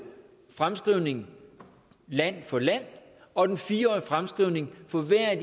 fremskrivning land for land og den fire årige fremskrivning for hver af